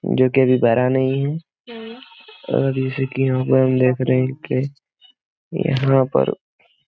जोकि अभी भरा नहीं है और जैसे कि यहाँ पर हम देख रहे के यहाँ पर --